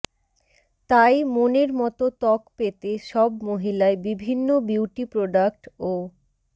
তাই মনের মতো ত্বক পেতে সব মহিলাই বিভিন্ন বিউটি প্রোডাক্ট ও